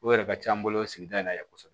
O yɛrɛ ka can an bolo sigida in na yan kosɛbɛ